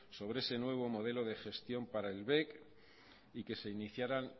sobre ese nuevo modelo de gestión para el bec y que se iniciaran